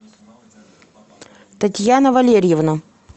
татьяна валерьевна